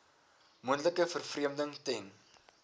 moontlike vervreemding ten